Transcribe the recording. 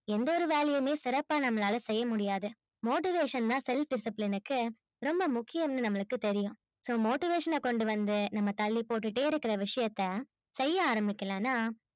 எந்த ஒரு வேலையுமே சிறப்பா நம்மளால செய்ய முடியாது motivation தான் self discipline க்கு ரொம்ப முக்கியம்னு நம்மளுக்கு தெரியும் so motivation கொண்டுவந்து நம்ம தள்ளி போட்டுகிட்டே இருக்குற விஷயத்த செய்ய ஆரம்பிக்கலானா